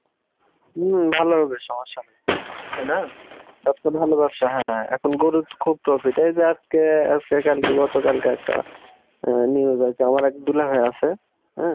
উম ভালো হবে সমস্যা নাই তাই না এখন গরুর খুব profit এইযে আজকে আজকে কালকে গতকালকে একটা আহ news আছে, আমার এক দুলাভাই আছে হ্যাঁ?